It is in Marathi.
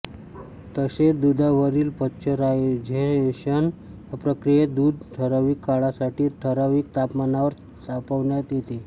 तसेच दूधावरील पाश्चरायझेशन या प्रक्रियेत दूध ठरावीक काळासाठी ठरावीक तापमानावर तापवण्यात येते